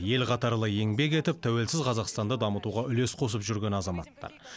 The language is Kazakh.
ел қатарлы еңбек етіп тәуелсіз қазақстанды дамытуға үлес қосып жүрген азаматтар